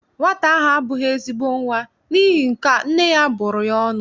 Nwata ahụ abụghị ezigbo nwa, n'ihi nkea, nne ya bụrụ ya ọnụ.